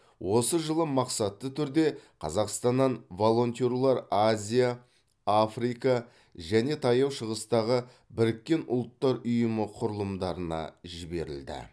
осы жылы мақсатты түрде қазақстаннан волонтерлер азия африка және таяу шығыстағы біріккен ұлттар ұйымы құрылымдарына жіберілді